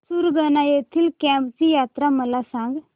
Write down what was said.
सुरगाणा येथील केम्ब ची यात्रा मला सांग